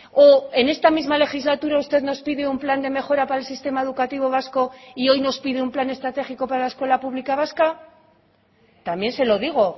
o en esta misma legislatura usted nos pide un plan de mejora para el sistema educativo vasco y hoy nos pide un plan estratégico para la escuela pública vasca también se lo digo